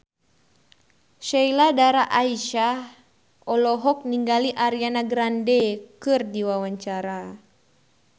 Sheila Dara Aisha olohok ningali Ariana Grande keur diwawancara